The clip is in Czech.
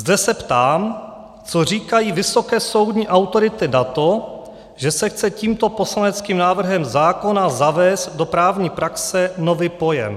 Zde se ptám, co říkají vysoké soudní autority na to, že se chce tímto poslaneckým návrhem zákona zavést do právní praxe nový pojem.